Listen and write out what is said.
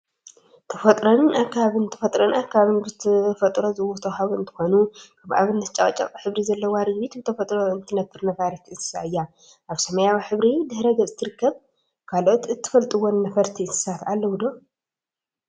ተፈጥሮን አከባቢን ተፈጥሮን አከባቢን ብተፈጥሮ ዝተወሃቡ እንትኮኑ፣ ከም አብነት ጨቅጨቅ ሕብሪ ዘለዋ ርግቢት ብተፈጥሮ እትነፍር ነፋሪት እንስሳ እያ፡፡ አብ ሰማያዊ ሕብሪ ድሕረ ገፅ ትርከብ፡፡ ካልኦት እትፈልጥወን ነፈርቲ እንስሳት አለዉ ዶ?